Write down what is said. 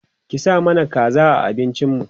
ki sa mana kaza a abincin mu